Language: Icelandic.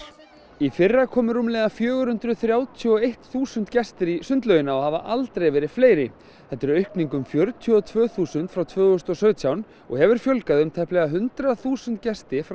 í fyrra komu rúmlega fjögur hundruð þrjátíu og eitt þúsund gestir í sundlaugina og hafa aldrei verið fleiri þetta er aukning um fjörutíu og tvö þúsund frá tvö þúsund og sautján og hefur fjölgað um tæplega hundrað þúsund gesti frá